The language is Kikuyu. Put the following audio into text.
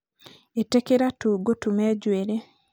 itĩkĩra tu ngũtume njuĩrĩ